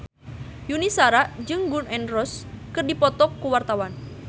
Yuni Shara jeung Gun N Roses keur dipoto ku wartawan